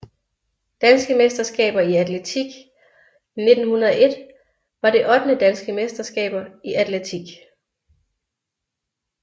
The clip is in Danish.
Danske mesterskaber i atletik 1901 var det ottende Danske mesterskaber i atletik